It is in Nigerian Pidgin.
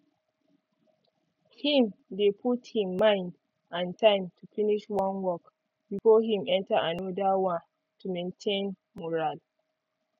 him dey put him mind and time to finish one work before him enter anoda one to maintain mural